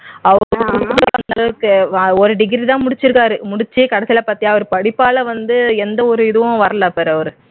அந்த அளவுக்கு ஒரு டிகிரி தான் முடிச்சி இருக்காரு முடிச்சி கடைசில பாத்தியா படிப்பால வந்து எந்த ஒரு இதுவும் வரல பாரு அவர்